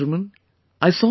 My dear countrymen,